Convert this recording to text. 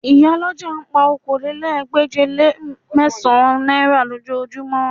Ìyálọ́jà ń pa okòólélẹ́ẹ̀ẹ́dégbèje-le-mẹ́sàn-án náírà lójoojúmọ́